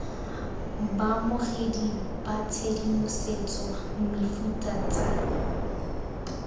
baamogedi ba tshedimosetso mefuta tsa